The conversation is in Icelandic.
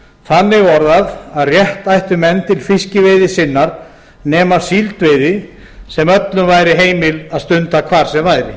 þannig orðað að rétt ættu menn til fiskveiði sinnar nema síldveiði sem öllum væri heimilt að stunda hvar sem væri